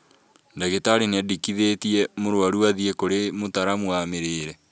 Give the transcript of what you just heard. Ndagĩtarĩ nĩendekithĩtie mũrwaru athiĩ kũrĩ mũtaramu wa mĩrĩrre